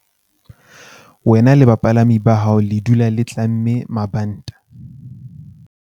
Wena le bapalami ba hao le dula le tlamme mabanta.